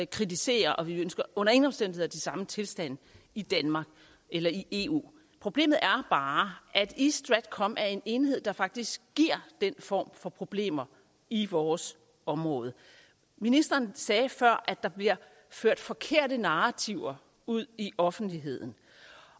kritisere og vi ønsker under ingen omstændigheder de samme tilstande i danmark eller i eu problemet er bare at east stratcom er en enhed der faktisk giver den form for problemer i vores område ministeren sagde før at der bliver ført forkerte narrativer ud i offentligheden